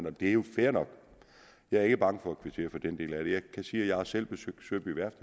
og det er jo fair nok jeg er ikke bange for at kvittere for den del af det jeg kan sige at jeg selv har besøgt søby værft